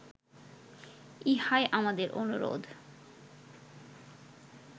ইহাই আমাদের অনুরোধ